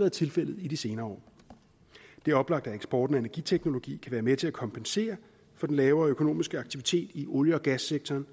været tilfældet i de senere år det er oplagt at eksporten af energiteknologi kan være med til at kompensere for den lavere økonomiske aktivitet i olie og gassektoren